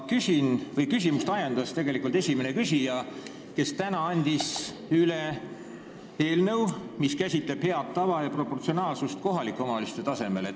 Küsima ajendas esimene küsija, kes täna andis üle eelnõu, mis käsitleb head tava ja proportsionaalsust kohalike omavalitsuste tasandil.